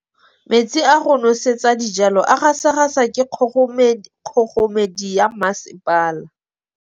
Metsi a go nosetsa dijalo a gasa gasa ke kgogomedi ya masepala.